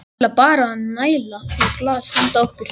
Ég ætla bara að næla í glas handa okkur.